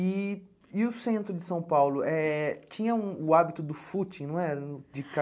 E e o centro de São Paulo, eh tinha um o hábito do footing, não era? De